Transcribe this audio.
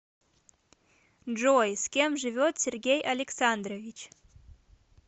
джой с кем живет сергей александрович